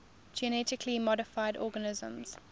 genetically modified organisms